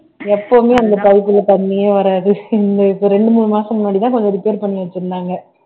எப்பவுமே இந்த pipe ல தண்ணியே வராது இப்ப ரெண்டு மூணு மாசம் முன்னாடிதான் கொஞ்சம் repair பண்ணி வச்சிருந்தாங்க